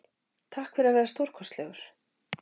Takk fyrir að vera stórkostlegur.